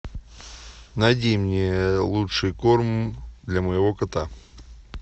найди мне лучший корм для моего кота